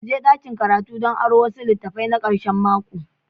Mu je dakin karatu don aron wasu litattafai na karshen mako.